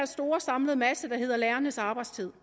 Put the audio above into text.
store samlede masse der hedder lærernes arbejdstid